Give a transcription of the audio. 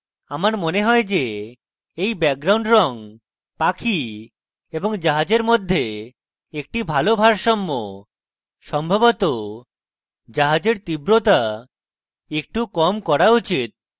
আমার মনে হয় যে এই background রঙ পাখি এবং জাহাজের মধ্যে একটি ভালো ভারসাম্য সম্ভবত জাহাজের তীব্রতা একটু কম করা উচিত